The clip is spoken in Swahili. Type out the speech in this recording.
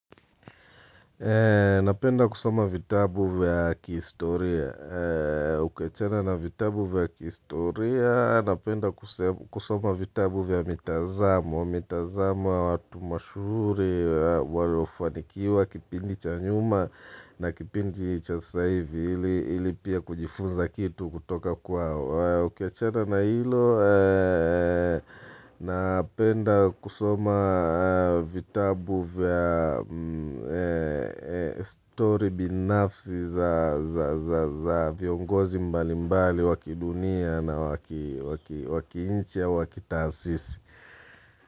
Napenda kusoma vitabu vya kihistoria, ukiachana na vitabu vya kihistoria, napenda kusoma vitabu vya mitazamo ya watu mashuhuri, waliyofanikiwa, kipindi cha nyuma na kipindi cha sasa hivi ili pia kujifunza kitu kutoka kwao. Ukiachana na hilo, napenda kusoma vitabu vya story binafsi za viongozi mbali mbali wa kidunia na wa kiinchi au wa kitaasisi.